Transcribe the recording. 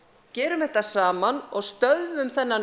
gerum þetta saman og stöðvum þennan